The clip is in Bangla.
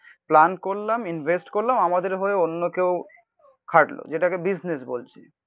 প্ল্যান করলাম ইনভেস্ট করলাম আমাদের হয়ে অন্য কেউ খাটলো. যেটাকে বিজনেস বলছি.